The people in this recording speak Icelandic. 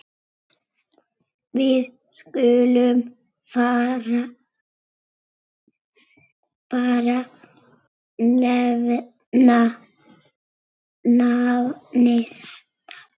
Við skulum bara nefna nafnið.